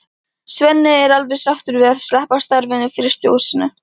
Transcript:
Svenni er alveg sáttur við að sleppa starfinu í frystihúsinu.